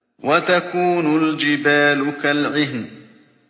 وَتَكُونُ الْجِبَالُ كَالْعِهْنِ